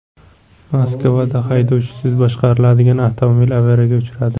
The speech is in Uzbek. Moskvada haydovchisiz boshqariladigan avtomobil avariyaga uchradi.